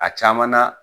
A caman na